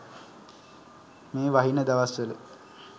මේ වහින දවස්වල